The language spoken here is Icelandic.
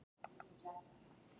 Móses, hvað er í matinn?